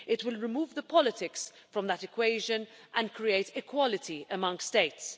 It will remove the politics from that equation and create equality among States.